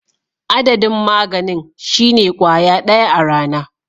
Adadin maganin shine kwaya daya a rana.